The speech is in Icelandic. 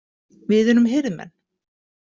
Við erum hirðmenn.